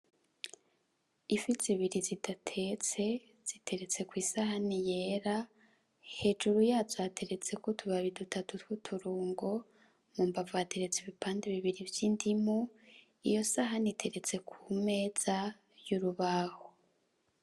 Ifi zibiri zidatetse ziteretse kwisahani yera hejuru yazo hateretseko utubabu dutatu twuturungo hambamvu hateretse ibipande bibiri vyindimu iyo sahani iteretse kumeza yurubaho.